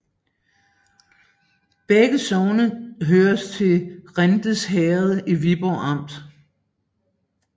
Begge sogne hørte til Rinds Herred i Viborg Amt